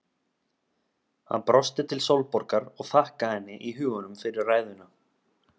Hann brosti til Sólborgar og þakkaði henni í huganum fyrir ræðuna.